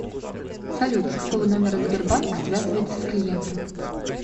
салют с какого номера сбербанк связывается с клиентом